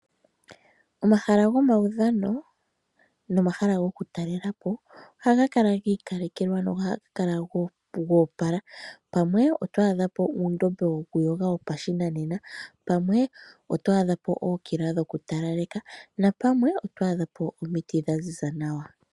Omahala gomawudhano nomahala goku talelapo oha ga kala giikalekelwa nohaga kala goopala , pamwe oto adhapo uundombe woku yoga wopa shinanena pamwe oto adhapo ookila dhoku talaleka napamwe oto adhapo omiti dha ziza nawa.